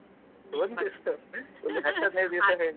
ಒಂದಿವ್ಸ ಹಾ ಒಂದು ಹತ್ತು ಹದಿನೈದು ದಿವ್ಸ .